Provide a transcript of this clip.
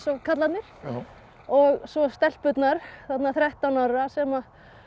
karlarnir svo stelpurnar þarna þrettán ára sem